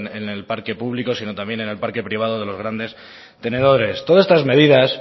en el parque público sino también en el parque privado de los grandes tenedores todas estas medidas